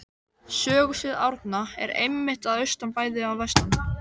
Sögusvið Árna er einmitt að austan bæði og vestan